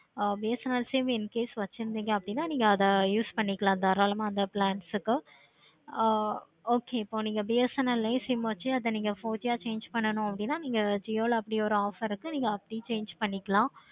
ஆஹ் BSNL sim incase வச்சிருந்திங்க அப்படினா அத use பண்ணிக்கலாம் தாராளமா அந்த plans ஆஹ் okay இப்போ BSNL sim வச்சி நீங்க அத இப்போ four G யா change பண்ணனும் அப்படின்னா jio ல அப்படி ஒரு offer இருக்கு. நீங்க அப்படி change பண்ணிக்கலாம்.